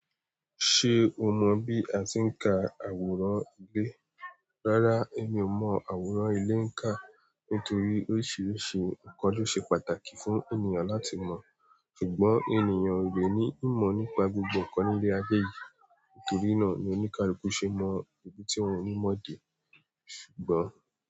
Ṣé o mọ̀ bí a tí ń ka àwòrán ilé? Rárá, èmi ò mọ àwòrán ilé ń kà. Nítorí oríṣiríṣi nǹkan ló ṣe pàtàkì fún ènìyàn láti mọ̀, ṣùgbọ́n ènìyàn o le ní ìmọ̀ nípa gbogbo nǹkan nílé ayé yìí. Nítorí náà ni oníkaluku ṣe mọ ibi tí wọ́n ní mọ̀ dé. Ṣùgbọ́n.